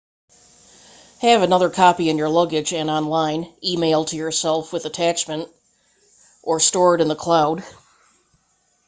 have another copy in your luggage and online e-mail to yourself with attachment or stored in the cloud"